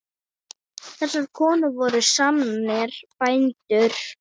Þessar konur voru sannir bændur.